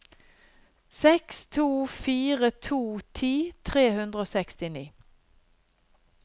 seks to fire to ti tre hundre og sekstini